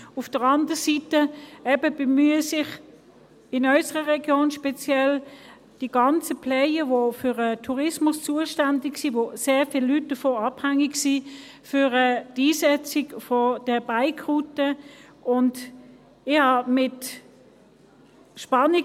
Auf der anderen Seite bemühen sich die Player, die für den Tourismus zuständig sind, von dem sehr viele Leute abhängig sind, eben für die Einsetzung von Bike-Routen – in unserer Region speziell.